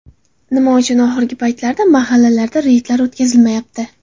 Nima uchun oxirgi paytlarda mahallalarda reydlar o‘tkazilmayapti?